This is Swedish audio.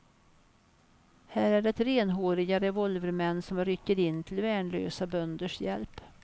Här är det renhåriga revolvermän som rycker in till värnlösa bönders hjälp.